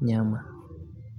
nyama.